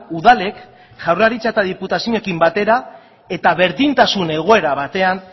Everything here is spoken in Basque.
udalek jaurlaritza eta diputazioekin batera eta berdintasun egoera batean